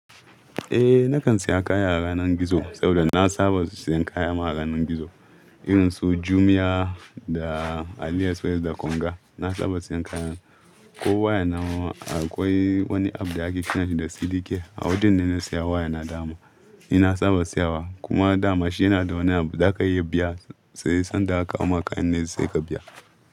Eh, na kan saya kaya a yanar gizo saboda na saba siyan kayama a yanar gizo. Irin su Jumia da Ali Express da Konga na saba siyan kaya. Ko waya nawa akwai wani app da ake kiransa da Sidike a wurin ne na saya waya na dama. Ni na saba siyawa kuma dama shi yana da wani abu za aka iya biya sai sanda aka kawo maka kayan ne sai ka biya.